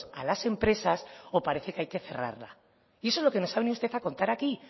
a las empresas o parece que hay que cerrarla y eso es lo que nos ha venido usted a contar aquí